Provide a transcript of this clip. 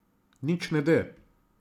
Nič ne de.